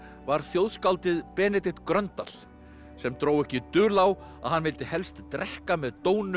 var þjóðskáldið Benedikt Gröndal sem dró ekki dul á að hann vildi helsta drekka með